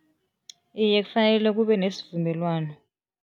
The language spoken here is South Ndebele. Iye, kufanele kube nesivumelwano.